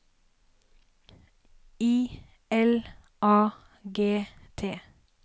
I L A G T